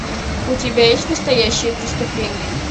у тебя есть настоящее преступление